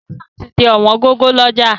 Tẹ̀lifísàn ti di ọ̀wọ́n gógó lọ́jà